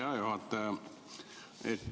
Hea juhataja!